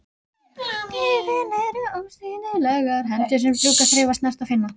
Augun eru ósýnilegar hendur sem strjúka, þreifa, snerta, finna.